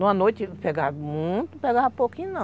Numa noite pegava muito, pegava pouquinho não.